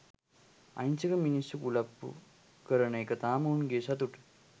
අහිංසක මිනිස්සු කුලප්පු කරන එක තාම උන්ගේ සතුට.